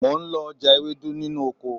Mo ń lọ já ewédú nínú oko